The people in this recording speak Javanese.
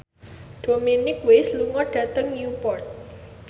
Dominic West lunga dhateng Newport